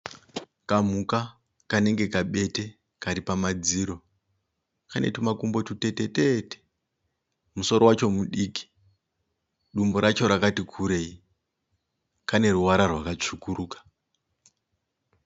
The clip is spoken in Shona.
Kamhuka kanenge ka pete karipama dziro. Kanetumakumbo tutetetete musoro wacho mudiki, dumbu racho rakati kurei, kaneruvara rwakasvukuruka.